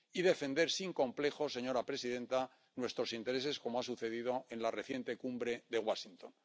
y defender, sin complejos, señora presidenta, nuestros intereses, como ha sucedido en la reciente Cumbre de Washington.